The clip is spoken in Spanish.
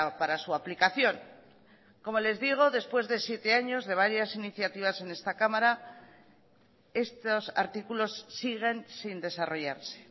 para su aplicación como les digo después de siete años de varias iniciativas en esta cámara estos artículos siguen sin desarrollarse